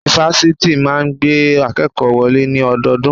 Ifáfitì máà ń gba akékòó wọlé ní ọdọọdún.